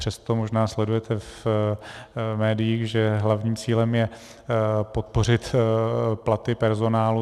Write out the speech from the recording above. Přesto možná sledujete v médiích, že hlavním cílem je podpořit platy personálu.